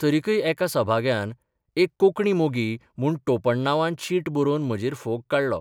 तरिकय एका सभाग्यान 'एक कोंकणी मोगी ' म्हूण टोपण नांवान चीट बरोवन म्हजेर फोग काडलो.